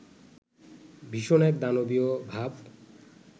ভীষণ এক দানবীয় ভাব